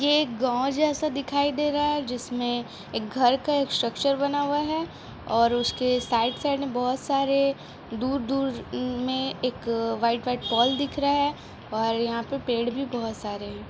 ये एक गाँव जैसा दिखाई दे रहा है जिसमें एक घर का एक स्ट्रक्चर बना हुआ है और उसके साइड साइड में बहुत सारे दूर-दूर में एक वाईट वाईट पोल दिख रहा है और यहाँ पे पेड़ भी बहोत सारे है।